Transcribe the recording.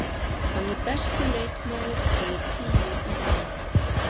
Hann er besti leikmaður númer tíu í heiminum.